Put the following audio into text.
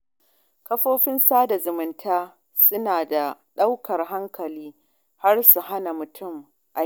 Kafofin sada zumunta suna da ɗaukar hankali har su hana mutum aiki